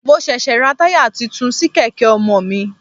Mo ṣẹ̀ṣẹ̀ ra tire tuntun sí kèké ọmọ mi.